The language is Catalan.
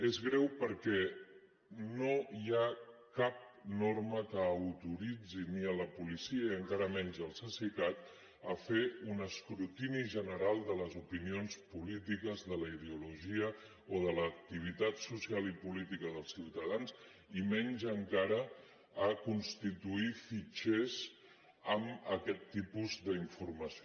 és greu perquè no hi ha cap norma que autoritzi ni la policia ni encara menys el cesicat a fer un escrutini general de les opinions polítiques de la ideologia o de l’activitat social i política dels ciutadans i menys encara a constituir fitxers amb aquest tipus d’informació